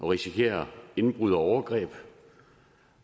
risikere indbrud og overgreb